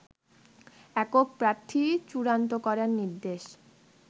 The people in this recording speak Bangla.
একক প্রার্থী চূড়ান্ত করার নির্দেশ